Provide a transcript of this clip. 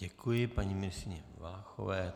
Děkuji paní ministryni Valachové.